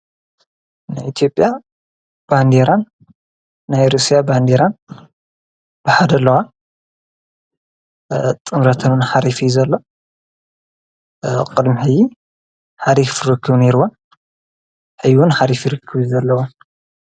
ንኤቲኦጴያ ባንዴራን ናይ ሩስያ ባንዲራን ብሓደለዋ ጥምረተንን ኃሪፊ ዘለ ቕድሚሕይ ሓሪኽፍርክቡ ነይርወ ሕይዩን ኃሪፊ ርክቡዩ ዘለዉ።